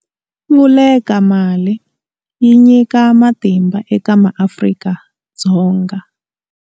Vulekamali yi nyika matimba eka maAfrika-Dzonga.